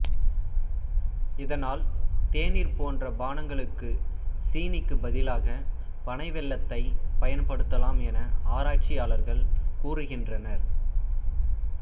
இதனால் தேநீர் போன்ற பானங்களுக்குச் சீனிக்குப் பதிலாக பனை வெல்லத்தைப் பயன்படுத்தலாம் என ஆராய்ச்சியாளர்கள் கூறுகின்றனர்